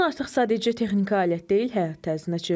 Telefon artıq sadəcə texniki alət deyil, həyat tərzinə çevrilib.